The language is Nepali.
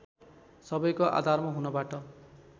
सबैको आधार हुनबाट